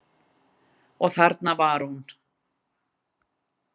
Og þarna var hún.